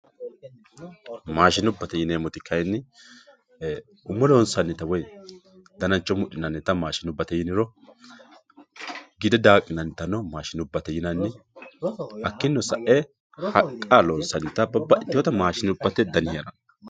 Maashinubbate yineemoti kayini umo loonsanitta woyi dananicho mudhinanitta maashinubbate yiniro, gidde daaqqinannitanno maashinubbate yinnani hakininno sa'e haqa loonsanitta babaxitewota maashinubate dani heerano